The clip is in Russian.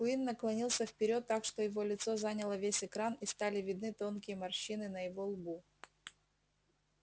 куинн наклонился вперёд так что его лицо заняло весь экран и стали видны тонкие морщины на его лбу